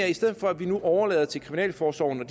i stedet for at vi nu overlader til kriminalforsorgen at